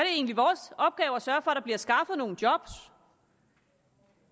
egentlig vores opgave at sørge bliver skaffet nogle job